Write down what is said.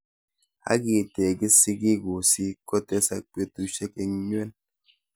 Akitekis sikiku si kotesa petushek en nywen